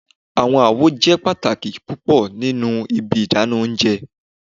Awọn awo jẹ pataki pupọ ninu Ibi idana ounjẹ